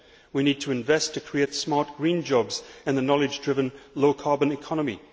We need to invest to create smart green jobs in the knowledge driven, low carbon economy.